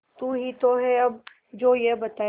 तू ही तो है अब जो ये बताए